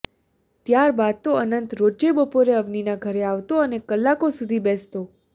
ત્યાર બાદ તો અનંત રોજે બપોરે અવનીના ઘરે આવતો અને કલાકો સુધી બેસતો